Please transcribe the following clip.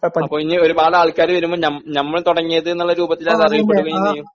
അപ്പോ ഇനി ഒരുപാട് ആൾക്കാര് വരുമ്പോ ഞ ഞമ്മള് തുടങ്ങിയത്ന്നുള്ള രൂപത്തിലത് അറിയപ്പെടുകയും ചെയ്യും